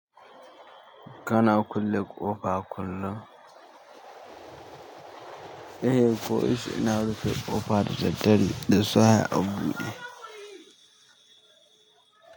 Kana kulle ƙofa a kullum? Eh ko yaushe ina rufe ƙofa da daddare da safe a buɗe.